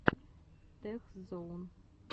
тех зоун